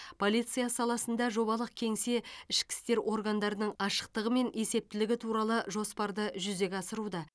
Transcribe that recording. полиция саласында жобалық кеңсе ішкі істер органдарының ашықтығы мен есептілігі туралы жоспарды жүзеге асыруда